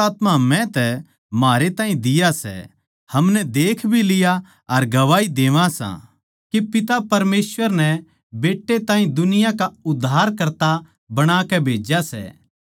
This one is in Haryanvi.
हम जाणगे सां अर हमनै बिश्वास सै के परमेसवर म्हारै तै प्यार करै सै परमेसवर प्यार सै अर जो प्यार म्ह बण्या रहवै सै वो परमेसवर म्ह वास करै सै अर परमेसवर उस म्ह वास करै सै